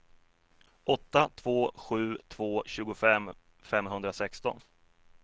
åtta två sju två tjugofem femhundrasexton